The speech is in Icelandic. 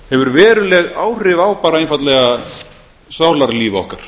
hefur verulega áhrif á bara einfaldlega sálarlíf okkar